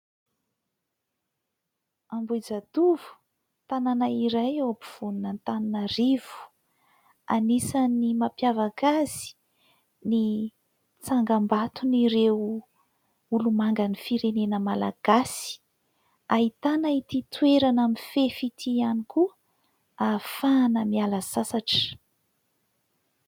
Ambohijatovo, tanàna iray ao ampovoanin'Antananarivo. Anisan'ny mampiavaka azy ny tsangam-baton'ireo olomangan'ny firenena malagasy. Ahitana ity toerana mifefy ity ihany koa ahafahana miala sasatra.